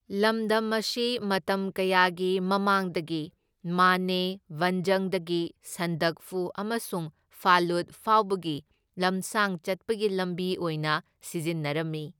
ꯂꯃꯗꯝ ꯑꯁꯤ ꯃꯇꯝ ꯀꯌꯥꯒꯤ ꯃꯃꯥꯡꯗꯒꯤ ꯃꯥꯅꯦ ꯚꯟꯖꯪꯗꯒꯤ ꯁꯟꯗꯛꯐꯨ ꯑꯃꯁꯨꯡ ꯐꯥꯂꯨꯠ ꯐꯥꯎꯕꯒꯤ ꯂꯝꯁꯥꯡ ꯆꯠꯄꯒꯤ ꯂꯝꯕꯤ ꯑꯣꯏꯅ ꯁꯤꯖꯤꯟꯅꯔꯝꯃꯤ꯫